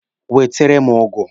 Wetere m ụgụ!